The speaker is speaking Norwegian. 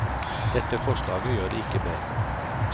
Dette forslaget gjør det ikke bedre.